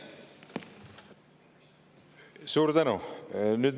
Suur tänu!